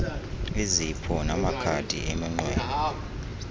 izipho namakhadi eminqweno